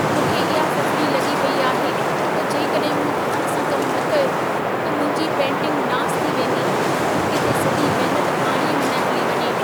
मूंखे इहा फ़िफ़िड़ी लॻी पेई आहे, त जेकॾहिं मूं ध्यान सां कमु न कयो त मुंहिंजी पेंटिंगु नासु थी वेंदी। किथे सॼी महनत पाणीअ में न हली वञे।